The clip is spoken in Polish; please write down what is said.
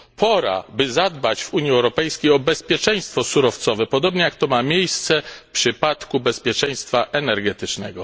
Pora, by zadbać w Unii Europejskiej o bezpieczeństwo surowcowe, podobnie jak ma to miejsce w przypadku bezpieczeństwa energetycznego.